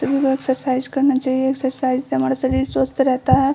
सभी लोगो को एक्सरसाइज करना चाहिए एक्सरसाइज से हमारा शरीर स्वस्थ रहता है।